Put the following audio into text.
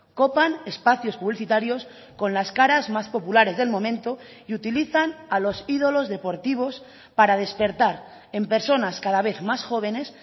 copan espacios publicitarios con las caras más populares del momento y utilizan a los ídolos deportivos para despertar en personas cada vez más jóvenes